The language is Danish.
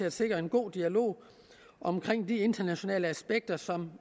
at sikre en god dialog om de internationale aspekter som